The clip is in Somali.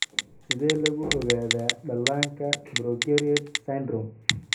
Sidee lagu ogaadaa dhallaanka progeroid syndrome?